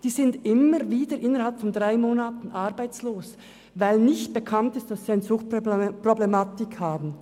Die Leute sind immer wieder innerhalb von drei Monaten arbeitslos, weil nicht bekannt ist, dass sie eine Suchtproblematik haben.